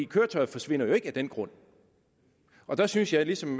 køretøjet forsvinder jo ikke af den grund og der synes jeg ligesom